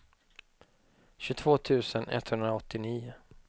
tjugotvå tusen etthundraåttionio